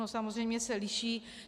No samozřejmě se liší.